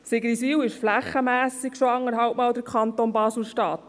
Sigriswil ist flächenmässig schon anderthalbmal so gross wie der Kanton Basel-Stadt.